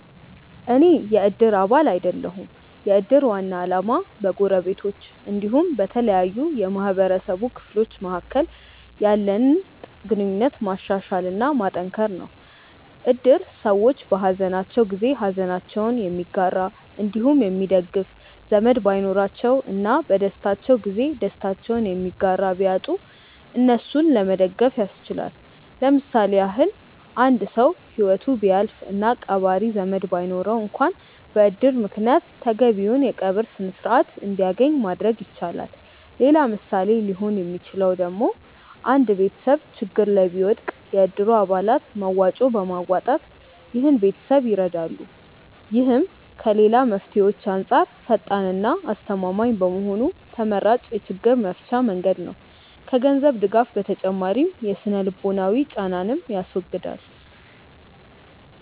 አኔ የ እድር አባል አይደለሁም። የ እድር ዋና አላማ በ ጎረቤቶች አንዲሁም በተለያዩ የ ማህበረሰቡ ክፍሎች መካከል ያለንን ግንኙነት ማሻሻል እና ማጠንከር ነው። እድር ሰዎች በ ሃዘናቸው ጊዜ ሃዘናቸውን የሚጋራ አንዲሁም የሚደግፍ ዘመድ ባይኖራቸው እና በ ደስታቸው ጊዜ ደስታቸውን የሚጋራ ቢያጡ እነሱን ለመደገፍ ያስችላል። ለምሳሌ ያክል አንድ ሰው ሂወቱ ቢያልፍ እና ቀባሪ ዘመድ ባይኖረው አንክዋን በ እድር ምክንያት ተገቢውን የ ቀብር ስርዓት አንድያገኝ ማድረግ ይቻላል። ሌላ ምሳሌ ሊሆን ሚችለው ደግሞ አንድ ቤተሰብ ችግር ላይ ቢወድቅ የ እድሩ አባላት መዋጮ በማዋጣት ይህን ቤተሰብ ይረዳሉ። ይህም ከ ሌላ መፍትሄዎች አንጻር ፈጣን እና አስተማማኝ በመሆኑ ተመራጭ የ ችግር መፍቻ መንገድ ነው። ከ ገንዘብ ድጋፍ ተጨማሪ የ ስነ-ልቦናዊ ጫናንንም ያስወግዳል።